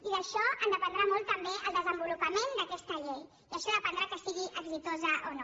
i d’això en dependrà molt també el desenvolupament d’aquesta llei i d’això en dependrà que sigui exitosa o no